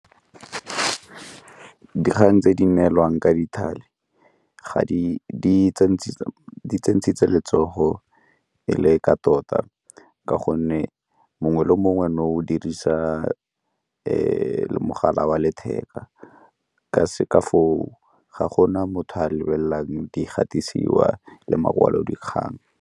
Dikgang tse di neelwang ka di letsogo e le ka tota, ka gonne mo mongwe le mongwe nou o dirisa mogala wa letheka ka foo ga go na motho o a lebelelang di gatisiwa le makwalodikgang.